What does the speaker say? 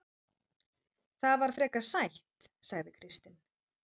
Það var frekar sætt, sagði Kristinn.